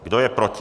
Kdo je proti?